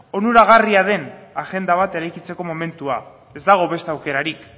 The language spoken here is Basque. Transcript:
onuragarria den agenda bat eraikitzeko momentua ez dago beste aukerarik